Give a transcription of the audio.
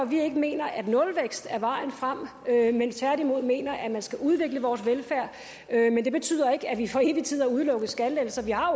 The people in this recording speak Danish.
vi ikke mener at nulvækst er vejen frem men tværtimod mener at man skal udvikle vores velfærd men det betyder ikke at vi for evig tid har udelukket skattelettelser vi har